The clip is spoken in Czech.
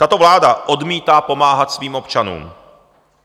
Tato vláda odmítá pomáhat svým občanům.